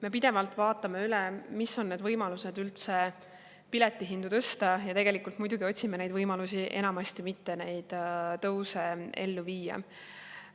Me pidevalt vaatame üle, mis võimalused on üldse piletihindu tõsta, ja muidugi enamasti otsime võimalusi, et neid tõuse mitte ellu viia.